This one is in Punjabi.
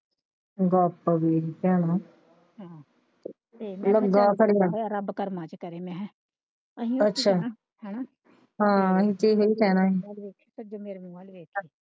ਗੱਪ ਵੇਖ ਭੈਣਾ ਤੇ ਲੱਗਾ ਰੱਬ ਕਰਮਾਂ ਚ ਕਰੇ ਮੈਂ ਕਿਹਾ ਅਸੀਂ ਓਹਨੂੰ ਕਿਹਾ ਅੱਛਾ ਹੈਨਾ ਹਾਂ ਅਸੀਂ ਤੇ ਇਹੋ ਕਹਿਣਾ ਹੀ ਮੇਰੇ ਮੂੰਹ ਵੱਲ ਵੇਖੇ।